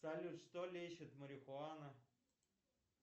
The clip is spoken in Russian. салют что лечит марихуана